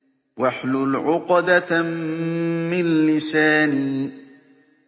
وَاحْلُلْ عُقْدَةً مِّن لِّسَانِي